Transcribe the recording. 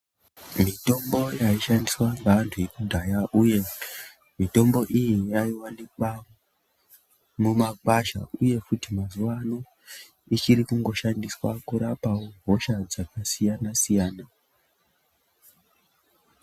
Mitombo yaishandiswa ngeantu ekudhaya uye, mitombo iyi yaiwanikwa mumakwasha, uye futi mazuwaano ,ichiri kungoshandiswa kurapawo, hosha dzakasiyana-siyana.